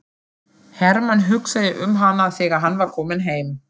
Hermann hugsaði um hana þegar hann var kominn heim.